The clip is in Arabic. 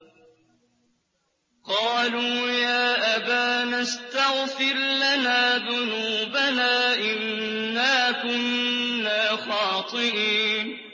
قَالُوا يَا أَبَانَا اسْتَغْفِرْ لَنَا ذُنُوبَنَا إِنَّا كُنَّا خَاطِئِينَ